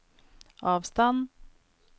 avstand